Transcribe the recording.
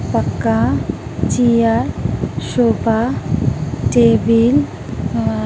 पक्का चिअर शोपा तेविल आ --